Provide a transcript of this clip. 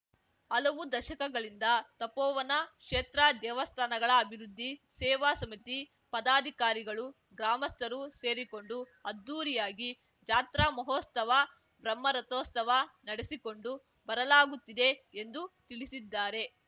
ಹಲವು ದಶಕಗಳಿಂದ ತಪೋವನ ಕ್ಷೇತ್ರ ದೇವಸ್ಥಾನಗಳ ಅಭಿವೃದ್ಧಿ ಸೇವಾ ಸಮಿತಿ ಪದಾಧಿಕಾರಿಗಳು ಗ್ರಾಮಸ್ಥರು ಸೇರಿಕೊಂಡು ಅದ್ದೂರಿಯಾಗಿ ಜಾತ್ರಾಮಹೋಸ್ತವ ಬ್ರಹ್ಮರಥೋಸ್ತವ ನಡೆಸಿಕೊಂಡು ಬರಲಾಗುತ್ತಿದೆ ಎಂದು ತಿಳಿಸಿದ್ದಾರೆ